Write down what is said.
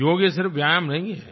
योग सिर्फ व्यायाम नहीं है